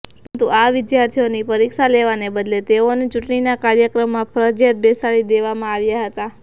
પરંતુ આ વિદ્યાર્થીઓની પરીક્ષા લેવાને બદલે તેઓને ચૂંટણીના કાર્યક્રમમાં ફરજીયાત બેસાડી દેવામાં આવ્યા હતા